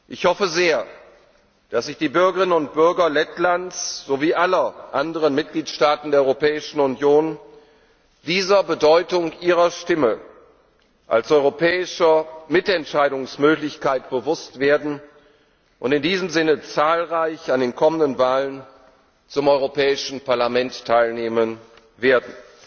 Ich hoffe sehr, dass sich die Bürgerinnen und Bürger Lettlands sowie aller anderen Mitgliedstaaten der Europäischen Union dieser Bedeutung ihrer Stimme als europäischer Mitentscheidungsmöglichkeit bewusst werden und in diesem Sinne zahlreich an den kommenden Wahlen zum Europäischen Parlament teilnehmen werden.